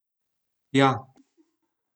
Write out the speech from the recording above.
Ja.